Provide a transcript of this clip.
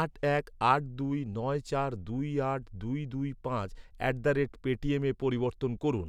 আট এক আট দুই নয় চার দুই আট দুই দুই পাঁচ অ্যাট দ্য রেট পেটিএমে পরিবর্তন করুন।